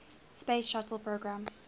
space shuttle program